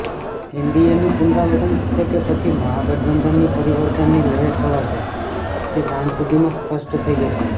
એનડીએનું પુનરાવર્તન થશે કે પછી મહાગઠબંધનની પરિવર્તનની લહેર છવાશે તે સાંજ સુધીમાં સ્પષ્ટ થઈ જશે